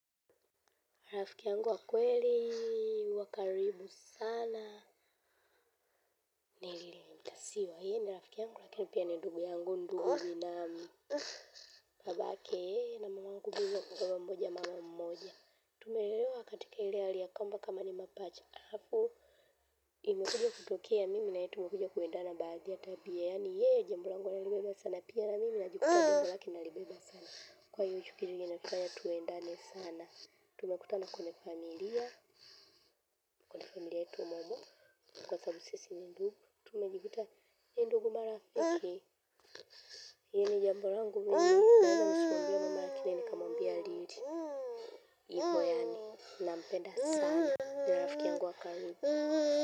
Rafiki yangu wa kweli, wa karibu sana, ni lili mtasiwa, yeye ni rafiki yangu lakini pia ni ndugu yangu ndugu na babake na mama angu mimi ni baba mmoja mama mmoja. Tumelelewa katika ile hali ya kwamba kama ni mapacha, alafu, imekuja kutokea mimi na yeye tumekuja kuendana baadhi ya tabia, yaani yeye, jambo langu analibeba sana pia na mimi najikuta jambo laki nalibeba sana. Kwa hiyo uchukiru jinefanya tuendane sana. Tumekutana konefamilia konefamilia yetu momo kwa thabu sisi ni ndugu. Tumekutana ndugu marafiki iyo ni jamburangu iyo ni mpenda sana na rafiki yangu wa karibu.